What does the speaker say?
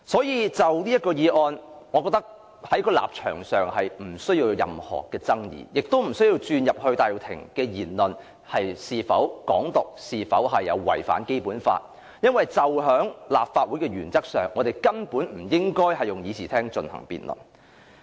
因此，就此議案，我覺得我們的立場沒有任何爭議，亦不需要討論戴耀廷的言論是否宣揚"港獨"及有違《基本法》，因為根據立法會的職權和功能，我們根本不應該在會議廳就此事進行辯論。